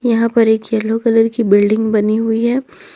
यहां पर एक येलो कलर की बिल्डिंग बनी हुई है।